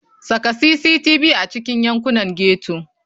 Saka cctv a cikin yankunan ghetto.